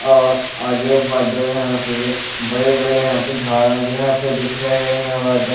और आजू-बाजू यहाँ पे बरे बड़े यहाँ पे झाड़ा भी हैं यहाँ पे दिख रहे हैं यहाँ --